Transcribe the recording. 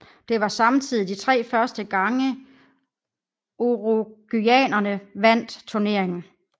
Det var samtidig de tre første gange uruguayanerne vandt turneringen